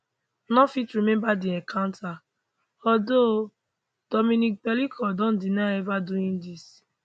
no fit remember di encounter although dominique pelicot don deny ever doing dis